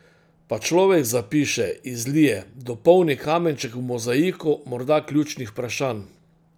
Pa človek zapiše, izlije, dopolni kamenček v mozaiku morda ključnih vprašanj.